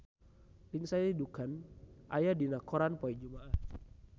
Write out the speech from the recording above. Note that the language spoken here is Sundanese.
Lindsay Ducan aya dina koran poe Jumaah